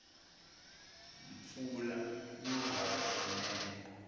mpfula yo halaka kunene